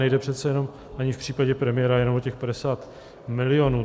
Nejde přece jenom ani v případě premiéra jenom o těch 50 milionů.